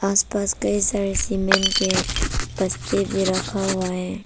आस पास के side cement के भी रखा हुआ है।